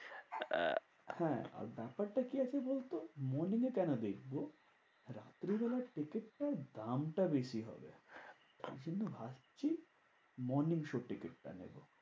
হ্যাঁ আর ব্যাপারটা কি আছে বলতো? morning এ কেন দেখবো? রাত্রিবেলায় টিকিটটার দামটা বেশি হবে। তাই জন্য ভাবছি morning show টিকিটটা নেবো।